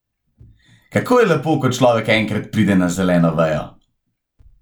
Kako je lepo, ko človek enkrat pride na zeleno vejo!